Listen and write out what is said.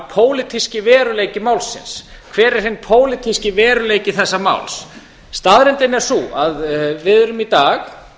pólitíski veruleiki málsins hver er hinn pólitíski veruleiki þessa máls staðreyndin er sú að við erum í dag